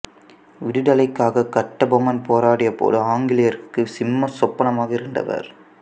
விடுதலைக்காக கட்டபொம்மன் போராடிய போது ஆங்கிலேயருக்கு சிம்ம சொப்பனமாக இருந்தவர்